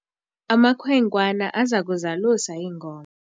amakhwenkwana aza kuzalusa iinkomo